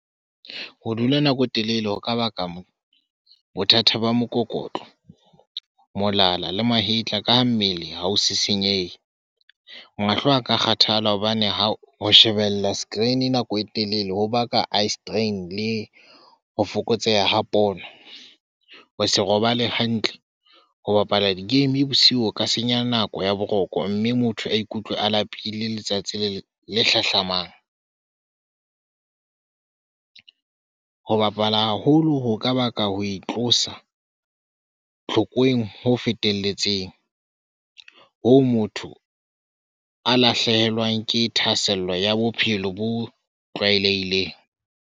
Ho dula nako e telele ho ka baka bothata ba mokokotlo, molala le mahetla ka ha mmele ha ho se senyehe. Mahlo aka kgathala hobane ha ho shebella screen nako e telele ho baka eye strain le ho fokotseha ha pono. Ho se robale hantle, ho bapala di game bosiu ho ka senya nako ya boroko mme motho a ikutlwe a lapile letsatsi le hlahlamang. Ho bapala haholo ho ka baka ho itlosa tlhokweng ho fetelletseng ho o motho a lahlehelwang ke thahasello ya bophelo bo tlwaelehileng.